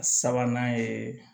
Sabanan ye